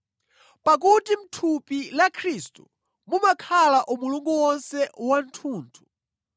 Pakuti mʼthupi la Khristu mumakhala umulungu wonse wathunthu.